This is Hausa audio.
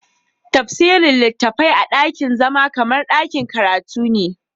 Tafsirin littafai a dakin zama kamar dakin karatu ne.